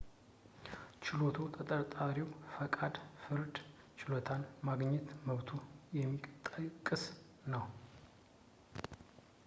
ችሎቱ ተጠርጣሪው ፈጣን የፍርድ ችሎታን የማግኘት መብቱን የሚጠቅስ ነው